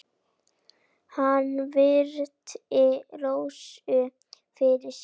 Hann virti Rósu fyrir sér.